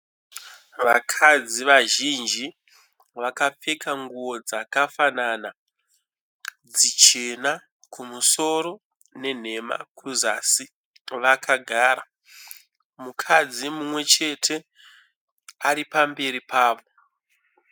Vakadzi vazhinji vakapfeka nguwo dzakafanana dzichena kumusoro nenhema kuzasi, vakagara. Mukadzi mumwe chete ari pamberi pavo.